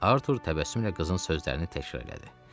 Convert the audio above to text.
Artur təbəssümlə qızın sözlərini təkrar elədi.